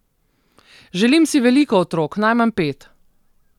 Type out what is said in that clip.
Želim si veliko otrok, najmanj pet.